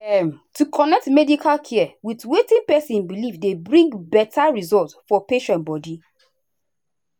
um to connect medical care with wetin person believe dey bring better result for patient body.